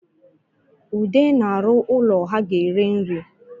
Ude na-arụ ụlọ ha ga-ere nri